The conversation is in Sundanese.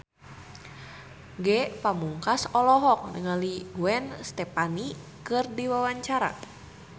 Ge Pamungkas olohok ningali Gwen Stefani keur diwawancara